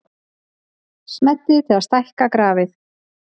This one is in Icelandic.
Smellið til að stækka grafið.